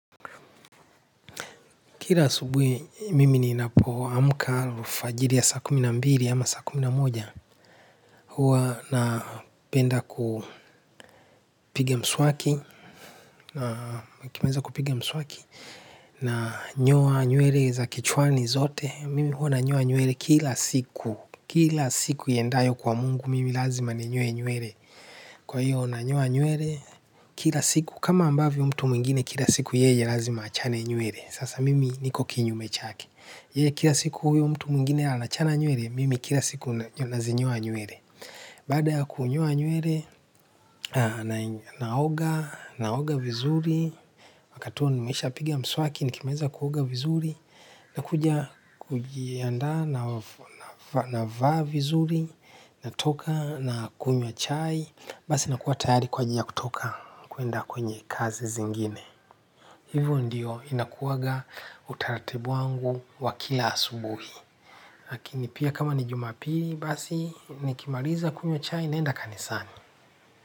Kila asubuhi mimi ni napo amka alfajiri ya saa kumi na mbili ama saa kumi na moja huwa napenda kupige mswaki nikimaliza kupiga mswaki na nyoa nywele za kichwani zote, mimi huwa na nyoa nywele kila siku, kila siku iendayo kwa mungu mimi lazima ni nyoe nywele, kwa hiyo na nyoa nywele kila siku kama ambavyo mtu mwingine kila siku yeye lazima achane nywele, sasa mimi niko kinyume chake, yeye kila siku huyo mtu mwingine anachana nywele, mimi kila siku na zi nyoa nywele baada ya kunyoa nywele, naoga, naoga vizuri wakati huo nimeisha pigia mswaki, nikimaza kuoga vizuri na kuja kujianda na vaa vizuri natoka nakunywa chai basi nakuwa tayari kwa ajili ya kutoka kwenda kwenye kazi zingine hivyo ndiyo ina kuwanga utaratibu wangu wa kila asubuhi. Hakini pia kama ni Juma pili basi nikimaliza kunywa chai naenda kanisani.